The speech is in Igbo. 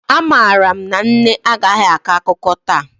Amaara m na nne agaghị akọ akụkọ taa